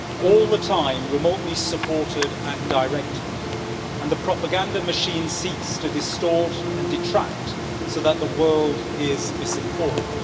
all the time remotely supported and directed. The propaganda machine seeks to distort and detract, so that the world is misinformed.